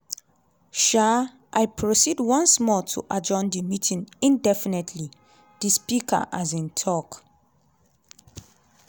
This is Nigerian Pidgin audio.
um "i proceed once more to adjourn the meeting indefinitely" di speaker um tok.